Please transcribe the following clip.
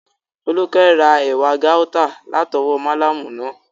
Fólúkẹ́ ra ewé gáútà látọwọ́ málámù náà